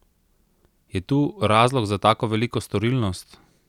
Je tu razlog za tako veliko storilnost?